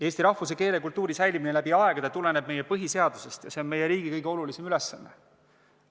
Eesti rahvuse, keele, kultuuri säilimine läbi aegade tuleneb meie põhiseadusest ja see on meie riigi kõige olulisem ülesanne.